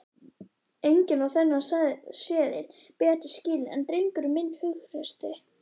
Enginn á þennan seðil betur skilinn en drengurinn minn hughrausti.